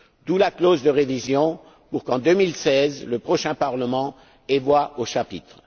D'où la clause de révision pour qu'en 2016, le prochain Parlement ait voix au chapitre.